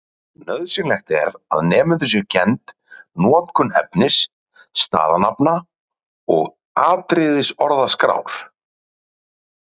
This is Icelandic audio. Nauðsynlegt er að nemendum sé kennd notkun efnis-, staðanafna- og atriðisorðaskrár.